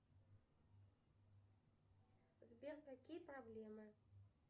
сбер какие проблемы